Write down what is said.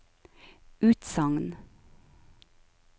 utsagn